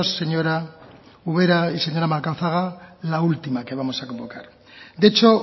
señora ubera y señora macazaga la última que vamos a convocar de hecho